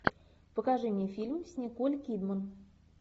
покажи мне фильм с николь кидман